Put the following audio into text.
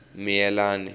miyelani